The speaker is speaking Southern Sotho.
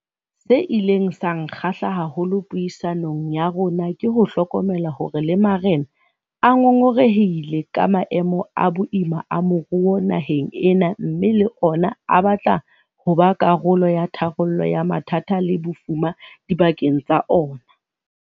Se ileng sa nkgahla haholo puisanong ya rona ke ho hlokomela hore le marena a ngongorehile ka maemo a boima a moruo naheng ena mme le ona a batla ho ba karolo ya tharollo ya mathata le bofuma dibakeng tsa ona.